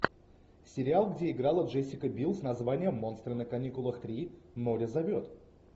сериал где играла джессика бил с названием монстры на каникулах три море зовет